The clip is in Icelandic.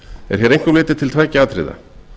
er hér einkum litið til tveggja atriða